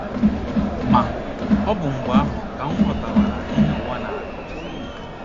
Ma, ọ bụ mgbe ahụ ka m ghọtawara ihe ụwa na - akọ.